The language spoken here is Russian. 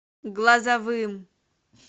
глазовым